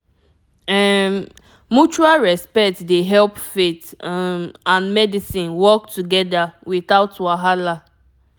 um mutual respect dey help faith um and medicine work together without wahala